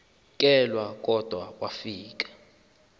kelwa kodwa wafika